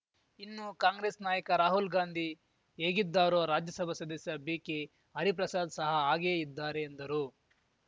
ಇನ್ನು ಕಾಂಗ್ರೆಸ್‌ ನಾಯಕ ರಾಹುಲ್‌ ಗಾಂಧಿ ಹೇಗಿದ್ದಾರೋ ರಾಜ್ಯಸಭಾ ಸದಸ್ಯ ಬಿಕೆ ಹರಿಪ್ರಸಾದ್‌ ಸಹ ಹಾಗೆಯೇ ಇದ್ದಾರೆ ಎಂದರು